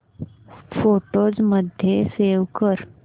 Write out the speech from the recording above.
photos मध्ये save कर